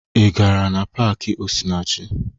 Ị gara na paakị Osinachi?